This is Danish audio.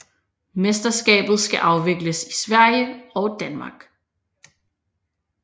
Mesterskabet skal afvikles i Sverige og Danmark